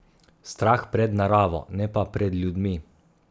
Strah pred naravo, ne pa pred ljudmi.